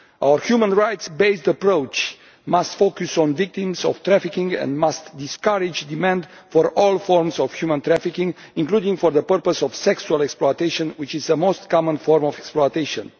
Our human rights based approach must focus on the victims of trafficking and must discourage demand for all forms of human trafficking, including for the purposes of sexual exploitation, which is the most common form of exploitation.